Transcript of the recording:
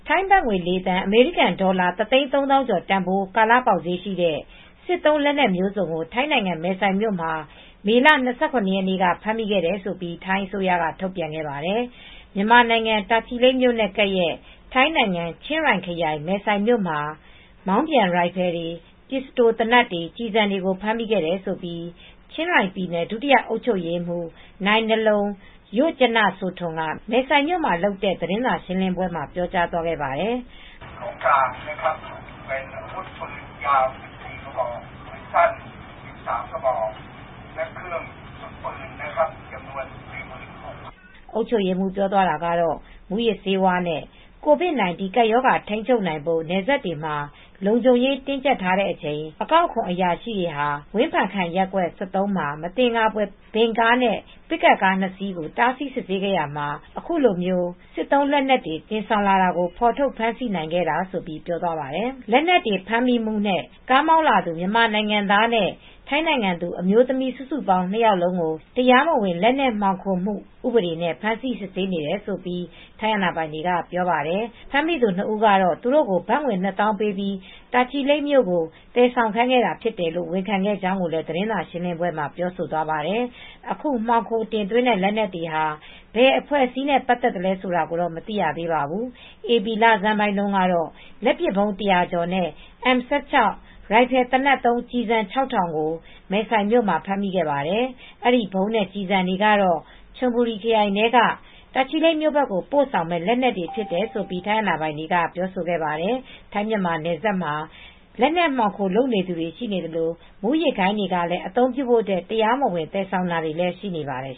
ထိုင်းဘတ်ငွေ ၄ သန်း၊ အမေရိကန်ဒေါ်လာ ၁ သိန်း ၃ သောင်းကျော်တန်ဖိုး ကာလ ပေါက်ဈေးရှိတဲ့ စစ်သုံးလက်နက်အမျိုးစုံကို ထိုင်းနိုင်ငံ မယ်ဆိုင်မြို့မှာ မေလ ၂၇ ရက်နေ့က ဖမ်းမိတယ်လို့ ထိုင်းအစိုးရက ထုတ်ပြန်ခဲ့ပါတယ်။ မြန်မာနိုင်ငံ တာချီလိတ်မြို့နဲ့ကပ်ရက် ထိုင်းနိုင်ငံ ချင်းရိုင်ခရိုင်၊ မယ်ဆိုင်မြို့မှာ မောင်းပြန်ရိုင်ဖယ်တွေ၊ ပစ္စတိုသေနတ်တွေ၊ ကျည်ဆံတွေကို ဖမ်းဆီးမိတယ်လို့ ချင်းရိုင်ပြည်နယ် ဒုတိယ အုပ်ချုပ်ရေးမှူး Narong Rojanasotorn က မယ်ဆိုင်မြို့မှာလုပ်တဲ့ သတင်းစာရှင်းပွဲမှာ ပြောကြားခဲ့ပါတယ်။ အုပ်ချုပ်ရေးမှူး ပြောသွားတာကတော့ မူးယစ်ဆေးဝါးနဲ့ ကိုဗစ်-၁၉ ကပ်ရောဂါ ထိမ်းချုပ်နိုင်ဖို့ နယ်စပ်မှ ာ လုံခြုံရေးတင်းကြပ်ထားတဲ့အချိန် အကောက်အခွန် အရာရှိတွေဟာ ဝင်ဖန်ခန် ရပ်ကွက် ၁၃ မှာ မင်္သကာဖွယ် ဗင်ကားနဲ့ပစ်ကပ်ကားနှစ်စီးကို တားဆီးစစ်ဆေးခဲ့ရာမှာ အခုလို စက်သုံးလက်နက်တွေ တင်ဆောင်လာတာကို ဖေါ်ထုတ်ဖမ်းဆီးလိုက်နိုင်ခဲ့တာဆိုပြီး ပြောသွားပါတယ်။ လက်နက်တွေ ဖမ်းမိမှုနဲ့ ကားမောင်းလာသူ မြန်မာနိုင်ငံသားနဲ့ ထိုင်းနိုင်ငံသူ အမျိုးသမီး စုစုပေါင်း ၂ ယောက်လုံးကို တရားမဝင် လက်နက် မှောင်ခိုတင်သွင်းမှု ဥပဒေနဲ့ ဖမ်းဆီးစစ်ဆေးနေတယ်လို့ ထိုင်းအာဏာပိုင်တွေကပြောပါတယ်။ ဖမ်းမိသူ ၂ ဦးကတော့ သူတို့ကို ဘတ်ငွေ နှစ်သောင်းပေးပြီး တာချီလိတ်ကို သယ်ဆောင်ခိုင်းခဲ့တာဖြစ်တယ်လို့ ဝန်ခံခဲ့ကြောင်းလည်း သတင်းစာရှင်းလင်းပွဲမှာ ပြောသွားပါတယ်။ အခု မှောင်ခိုသွင်းတဲ့လက်နက်တွေက ဘယ်အဖွဲ့အစည်းနဲ့ ပတ်သက်သလဲဆိုတာ မသိရသေးပါဘူး။ ဧပြီလဆန်းပိုင်းတုန်းကလည်း လက်ပစ်ဗုံး ၁၀၀ ကျော်နဲ့ M16 ရိုင်ဖယ်သေနတ်သုံးကျည်ဆံ ၆,၀၀၀ ကို မဲဆိုင်မြို့မှာ ဖမ်းမိခဲ့ပါတယ် အဲဒီဗုံးနဲ့ကျည်ဆံတွေကတော့ ချွန်ဘူရီခရိုင်ထဲကနေ တာချီလိတ်မြို့ဘက်ကို ပို့ဆောင်မယ့် လက်နက်တွေဖြစ်တယ်လို့ ထိုင်းအာဏာပိုင်တွေက ပြောခဲ့ပါတယ်။ ထိုင်းမြန်မာနယ်စပ်မှာ လက်နက်မှောင်ခိုလုပ်နေသူတွေ ရှိသလို မူးယစ်ဂိုဏ်းတွေကလည်း အသုံးပြုဖို့ တရားမဝင် သယ်ဆောင်တာတွေရှိနေပါတယ်